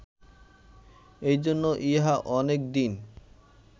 এইজন্য ইহা অনেক দিন